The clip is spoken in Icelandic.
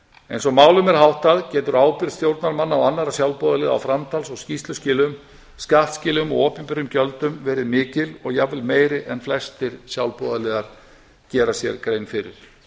eins og málum er háttað getur ábyrgð stjórnarmanna og annarra sjálfboðaliða á framtals og skýrsluskilum skattskilum og opinberum gjöldum verið mikil og jafnvel meiri en flestir sjálfboðaliðar gera sér grein fyrir